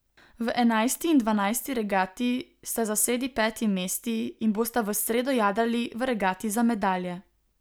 V enajsti in dvanajsti regati sta zasedi peti mesti in bosta v sredo jadrali v regati za medalje.